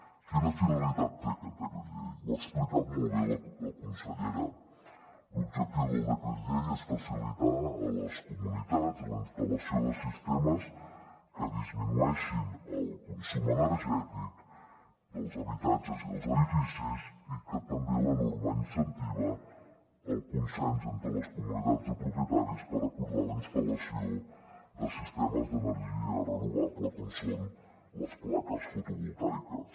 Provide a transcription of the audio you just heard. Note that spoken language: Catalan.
quina finalitat té aquest decret llei ho ha explicat molt bé la consellera l’objectiu del decret llei és facilitar a les comunitats la instal·lació de sistemes que disminueixin el consum energètic dels habitatges i dels edificis i que també la norma incentiva el consens entre les comunitats de propietaris per acordar la instal·lació de sistemes d’energia renovable com són les plaques fotovoltaiques